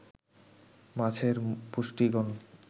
মাছের পুষ্টিগুণ